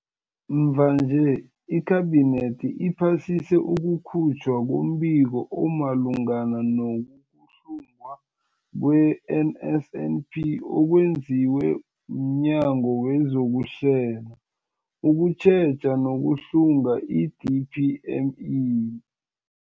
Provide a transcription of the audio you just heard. Mvanje, iKhabinethi iphasise ukukhutjhwa kombiko omalungana no-kuhlungwa kwe-NSNP okwenziwe mNyango wezokuHlela, ukuTjheja nokuHlunga, i-DPME.